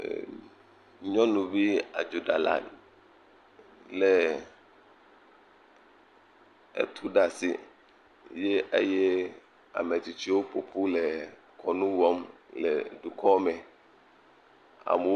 Eeeeemmm., nyɔnuvi adzodalae lé etu ɖe asi eye ametsitsiwo ƒoƒu le kɔnu wɔm le dukɔ me. Amewo.